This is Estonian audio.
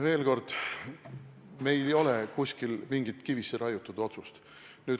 Veel kord: meil ei ole kuskil mingit kivisse raiutud otsust.